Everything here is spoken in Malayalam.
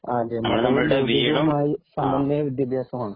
സമന്വയ വിദ്യാഭ്യാസമാണ്.